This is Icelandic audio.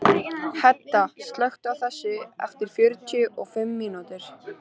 Hedda, slökktu á þessu eftir fjörutíu og fimm mínútur.